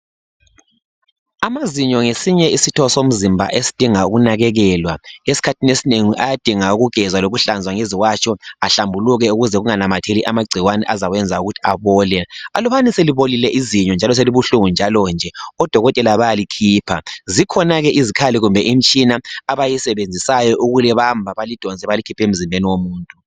Amazinyo ngesinye isitho somzimba esidinga ukunakelelwa esikhathini esinengi ayadinga ukugezwa lokuhlazwa ngeziwatsho ehlambuluke ukuze kunganamatheli amagcikwane azaweza ukuthi abole ulubana selibolile izinyo njalo selibuhlungu njalo nje odokotela bayalikhipha zikhona ke izikhali kumbe imitshina abayisebenzisayo ukulibamba balidonse balikhiphe emzimbeni womuntu.